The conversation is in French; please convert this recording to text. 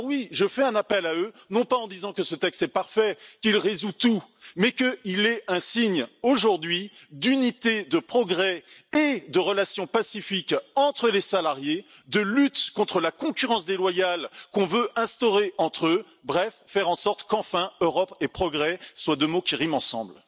Alors oui, j'en appelle à eux, non pas en disant que ce texte est parfait, qu'il résout tout, mais qu'il est un signe aujourd'hui d'unité, de progrès et de relations pacifiques entre les salariés, de lutte contre la concurrence déloyale qu'on cherche à créer entre eux, bref faire en sorte qu'enfin Europe et progrès soient deux mots qui riment ensemble.